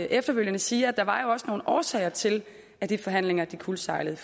efterfølgende sige at der også var nogle årsager til at de forhandlinger kuldsejlede